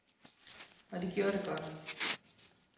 Og de gjorde det godt.